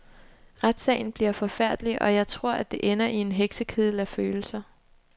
Retssagen bliver forfærdelig, og jeg tror, at det ender i en heksekedel af følelser.